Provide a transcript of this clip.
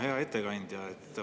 Hea ettekandja!